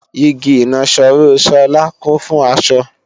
Igi ìnaṣọró Sola kún fún aṣọ